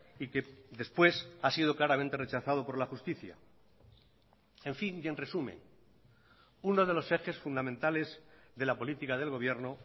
y que después ha sido claramente rechazado por la justicia en fin y en resumen uno de los ejes fundamentales de la política del gobierno